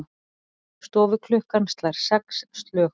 Stofuklukkan slær sex slög.